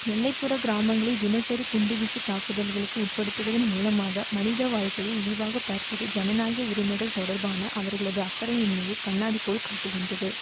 எல்லைப்புறக் கிராமங்களை தினசரி குண்டு வீச்சு தாக்குதல்களுக்கு உட்படுத்துவதன் மூலமாக மனித வாழ்கையை இழிவாகப் பார்ப்பது ஜனநாயக உரிமைகள் தொடர்பான அவர்களது அக்கறையின்மையை கண்ணாடிபோல் காட்டுகின்றது